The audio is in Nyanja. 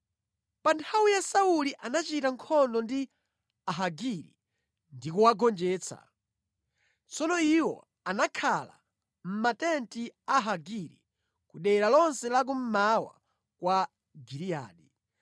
Pa nthawi ya Sauli anachita nkhondo ndi Ahagiri ndi kuwagonjetsa. Tsono iwo anakhala mʼmatenti a Ahagiri ku dera lonse la kummawa kwa Giliyadi.